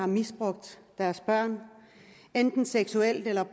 misbrugt seksuelt eller